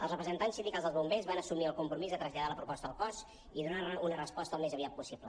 els represen·tants sindicals dels bombers van assumir el compromís de traslladar la proposta al cos i donar una resposta al més aviat possible